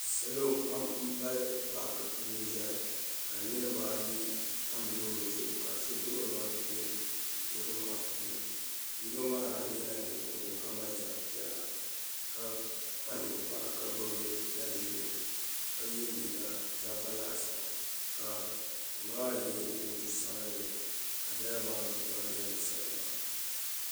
salo pam n pali paaki puuni ʒɛya ka niraba ayi tam loori zuɣu ka so duɣuriba niraba maa puuni yino maa nyɛla ninkurigu ka mali zabi piɛla ka kpa ninkpara ka gbubi da ʒiɛ ka yɛ liiga zaba laasabu ka ŋunbala maa yɛ kootu sabinli ka dirava maa duɣuriba gilindi soli maa